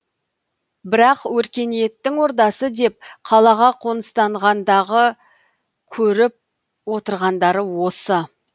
бірақ өркениеттің ордасы деп қалаға қоныстанғандағы көріп отырғандары осы